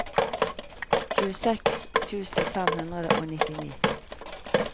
tjueseks tusen fem hundre og nittini